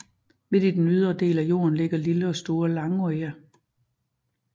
Midt i den ydre del af fjorden ligger lille og store Langøya